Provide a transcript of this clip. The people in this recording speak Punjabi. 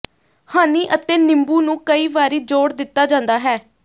ਹਨੀ ਅਤੇ ਨਿੰਬੂ ਨੂੰ ਕਈ ਵਾਰੀ ਜੋੜ ਦਿੱਤਾ ਜਾਂਦਾ ਹੈ